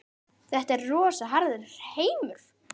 Þetta er rosa harður heimur.